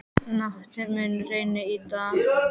Nathan, mun rigna í dag?